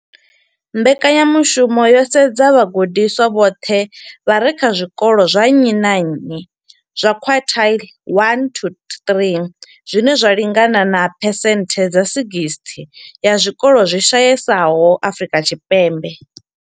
Mbekanyamushumo yo sedza vhagudiswa vhoṱhe vha re kha zwikolo zwa nnyi na nnyi zwa quintile 1 to 3, zwine zwa lingana na phesenthe dza 60 ya zwikolo zwi shayesaho Afrika Tshipembe.